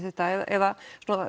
þetta eða